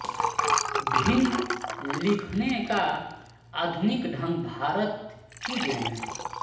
भिन्न लिखने का आधुनिक ढंग भारत की देन है